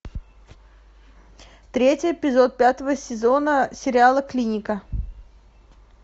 третий эпизод пятого сезона сериала клиника